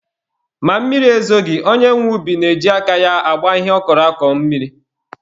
Ma mmiri ezoghi, onye nwe ubi na-eji aka ya agba ihe ọ kọrọ akọ mmiri.